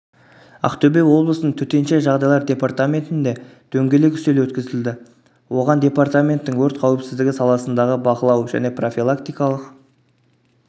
ақтөбе облысының төтенше жағдайлар департаментінде дөңгелек үстел өткізілді оған департаменттің өрт қауіпсіздігі саласындағы бақылау және профилактикалық